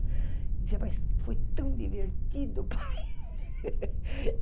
Dizia, mas foi tão divertido, pai.